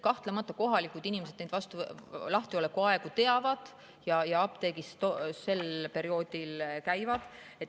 Kahtlemata kohalikud inimesed neid lahtiolekuaegu teavad ja käivad apteegis sel perioodil.